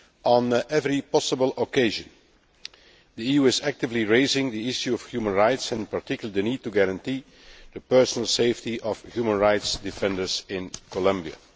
On every possible occasion the EU is actively raising the issue of human rights and in particular the need to guarantee the personal safety of human rights defenders in Colombia.